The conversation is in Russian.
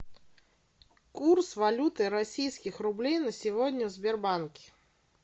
курс валюты российских рублей на сегодня в сбербанке